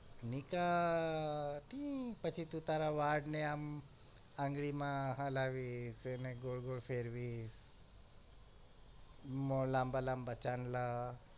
નીકા પછી તું તારા વાળ ને આમ આંગળી માં હલાવીશ એને ગોળ ગોળ ફેરવીશ મો લાંબા લાંબા ચાંદલા